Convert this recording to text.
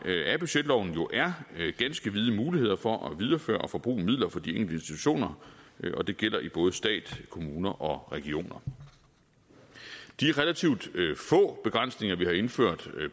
af budgetloven er ganske vide muligheder for at videreføre og forbruge midler for de enkelte institutioner og det gælder i både stat kommuner og regioner de relativt få begrænsninger vi har indført